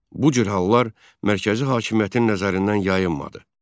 Bu cür hallar mərkəzi hakimiyyətin nəzərindən yayınmadı.